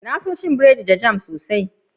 Na so cin burodi da jam sosai.